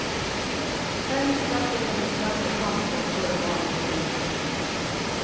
Dermed startet hennes lange kamp for å få romanen filmet.